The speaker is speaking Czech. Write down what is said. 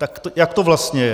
Tak jak to vlastně je?